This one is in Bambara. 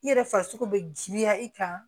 I yɛrɛ farisogo bɛ giriya i kan